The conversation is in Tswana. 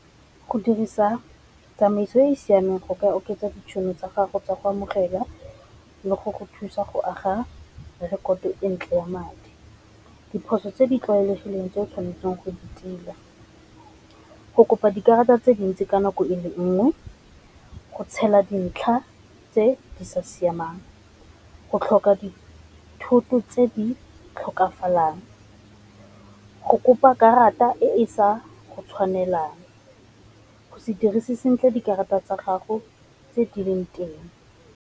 Go dirisa tsamaiso e e siameng go ka oketsa ditšhono tsa gago tsa go amogela le go go thusa go aga rekoto e ntle ya madi. Diphoso tse di tlwaelegileng tse o tshwanetseng go di tila go kopa dikarata tse dintsi ka nako e le nngwe, go tshela dintlha tse di sa siamang, go tlhoka dithoto tse di tlhokafalang, go kopa karata e e sa tshwanelang, go se dirise sentle dikarata tsa gago tse di leng teng.